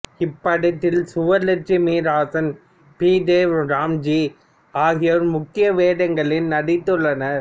இப்படத்தில் சுவலட்சுமி ராசன் பி தேவ் ராம்ஜி ஆகியோர் முக்கிய வேடங்களில் நடித்தனர்